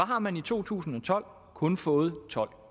har man i to tusind og tolv kun fået tolv